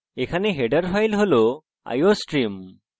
আপনি দেখতে পারেন যে header file হল iostream